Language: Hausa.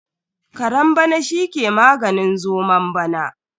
Karen bana shi ke maganin zomon bana.